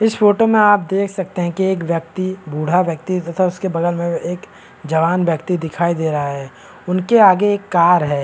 इस फोटो में आप देख सकते हैं की एक व्यक्ति बूढ़ा तथा उसके बगल में एक जवान व्यक्ति दिखाई दे रहा है उनके आगे एक कार है।